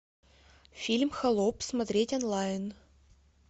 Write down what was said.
фильм холоп смотреть онлайн